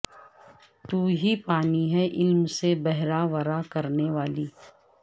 تو ہی پانی ہے علم سے بہرہ ورہ کرنے والی